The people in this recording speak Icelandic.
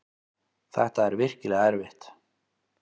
Þetta er virkilega erfitt.